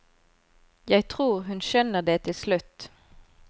Jeg tror hun skjønner det til slutt.